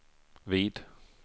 vid